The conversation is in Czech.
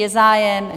Je zájem?